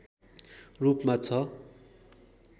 रूपमा छ